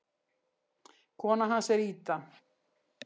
Kona hans er Ida.